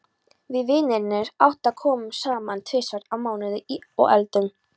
Við vinirnir átta komum saman tvisvar í mánuði og eldum.